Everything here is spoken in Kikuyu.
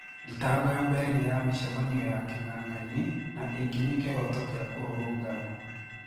Thitango ya mbere ni ya mishemanio ya king'ang'aini na ĩngĩ ni kihoto kia kũrũrũgana.